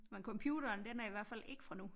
Men computeren den er i hvert fald ikke fra nu